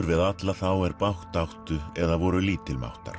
við alla þá er bágt áttu eða voru